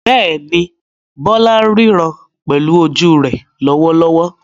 Bẹ́ẹ̀ni, Bola ń ríran pẹ̀lú ojú rẹ̀ lọ́wọ́lọ́wọ́.